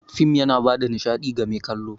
Fim yana bada nishaɗi ga mai kallo.